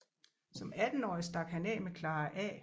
Som attenårig stak han af med Clara A